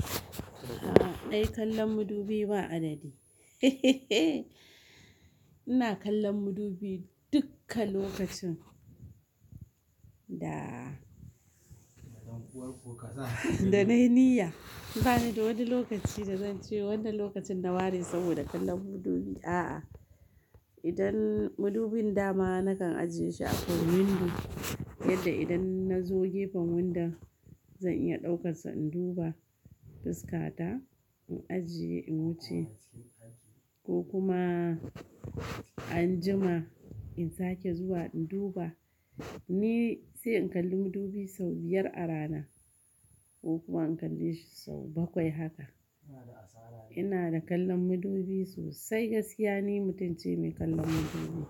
A'a dai, kallon madubi ba adadi heheheh. Ina kallon madubi dukka lokacin da, da na yi niyya. Ba ni da wani lokaci da zan ce wannan lokacin na ware saboda kallon madubi. A'a, idan madubin dama nakan ajiye shi a kan windo, yadda idan na zo gefen window zan iya ɗaukansa in duba fuska ta, in ajiye, in wuce. Ko kuma anjima in sake zuwa in duba. Ni sai in kalli madubi sau biyar a rana ko kuma in kalle shi sau bakwai haka. Ina da kallon madubi sosai, gaskiya ne mutumce mai kallon madubi.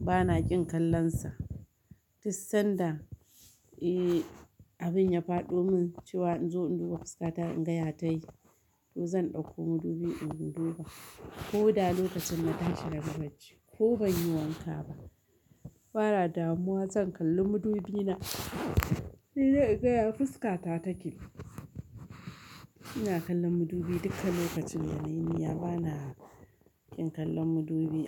Bana ƙin kallonsa. Dussan da, eh, abin ya fado mun cewa in zo in duba fuska ta in ga ya ta yi, to zan ɗauko madubi in duba. Ko da lokacin na tashi da bara ji ko ban yi wanka ba, ba ra damuwa zan kalli madubi na, sai dai in gaya fuska ta take. Ina kallon madubi dukkan lokacin da na yi niyya. Ba na ƙin kallon madubi.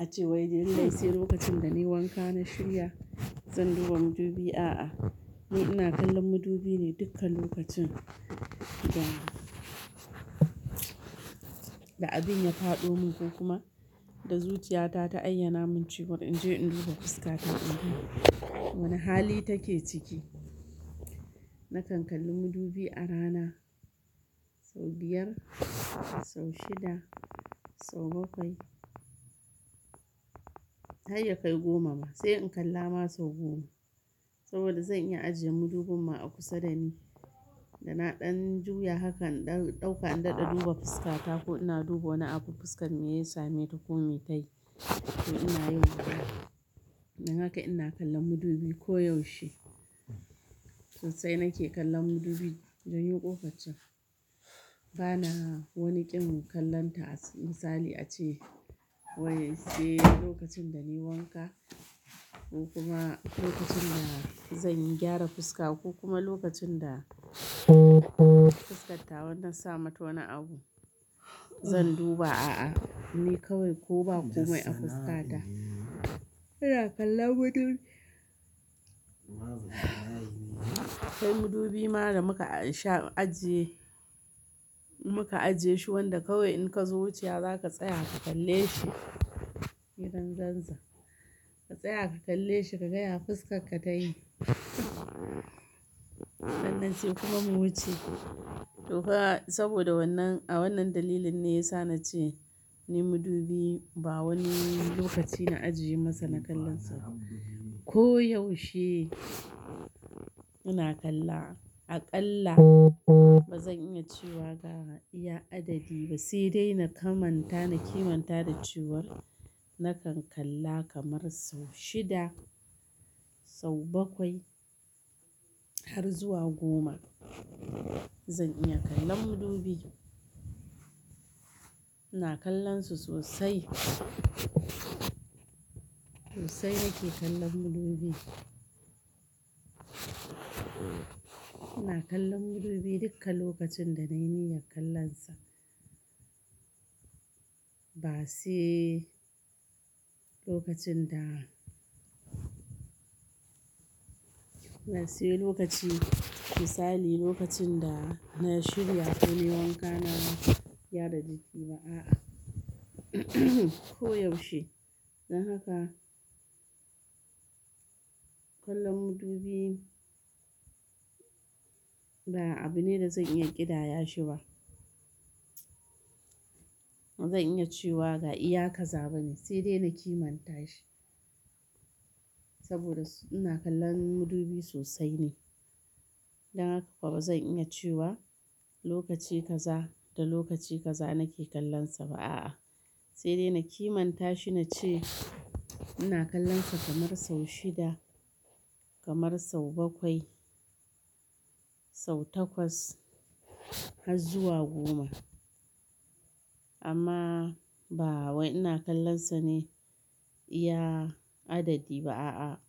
A ce wai dai sai lokacin da na yi wanka na shirya zan duba madubi. A'a, ni ina kallon madubi ne dukkan lokacin da, da abin ya fado mun ko kuma da zuciya ta, ta ayyana mun cewa in je in duba fuska ta in ga wane hali take ciki. Nakan kalli madubi a rana sau biyar, sau shida, sau bakwai. Har ya kai goma ba sai in kalla ma sau goma. Saboda zan iya ajiye madubin ma a kusa da ni, da na ɗan juya haka in dan ɗauka, in daɗa duba fuska ta ko ina duba wani abu fuskar me ya same ta ko me ta yi, to ina yauka. Dan haka ina kallon madubi koyaushe. Sosai nake kallon madubi, don yo ƙofar can. Ba na wani ƙin kallonta. Misali ace wai sai lokacin da na yi wanka ko kuma lokacin da zan yi gyara fuska ko kuma lokacin da fuskat tawa na sa mata wani abu zan duba. A'a, ni kawai ko ba komai a fuska ta, ina kallon madubi. Kai madubi ma da muka ansha ajiye, muka aje shi wanda kawai in ka zo wuce za ka tsaya ka kalle shi, idan zanza. Ka tsaya ka kalle shi ka gaya fuskar ka ta yi. Sannan sai kuma mu wuce. To fa saboda wannan, a wannan dalilin ne ya sa na ce ni madubi ba wani lokaci na ajiye masa na kallonsa. Koyaushe ina kalla. Aƙalla ba zan iya cewa ga iya adadi ba. Sai dai na kamanta, na kimanta da cewar na kan kalla kamar sau shida, sau bakwai har zuwa goma. Zan iya kallon madubi. Ina kallonsa sosai. Sosai nake kallon madubi. Ina kallon madubi dukkan lokacin da na yi niyyar kallonsa. Ba sai lokacin da-- na sai lokaci. Misali lokacin da na shirya ko na yi wanka na gyara jiki ba. A'a, koyaushe. Dan haka kallon madubi ba abu ne da zan iya ƙidaya shi ba. Ba zan iya cewa ga iya kaza bane sai dai na kimanta shi. Saboda ina kallon madubi sosai ne. Dan haka ko ba zan iya cewa lokaci kaza da lokaci kaza nake kallonsa ba. A'a, sai dai na kimanta shi na ce ina kallonsa kamar sau shida, kamar sau bakwai, sau takwas har zuwa goma. Amma ba wai ina kallonsa ne iya adadi ba, a'a,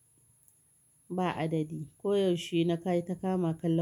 ba adadi. Koyaushe na kai ta kama kallon.